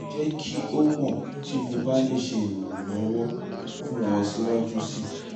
jẹ ki o mọ ti mo ba le ṣe iranlọwọ fun ọ siwaju sii